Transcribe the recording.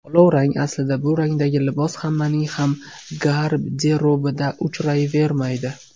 Olovrang Aslida bu rangdagi libos hammaning ham garderobida uchrayvermaydi.